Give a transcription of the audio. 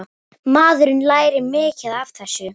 Maður lærir mikið af þessu.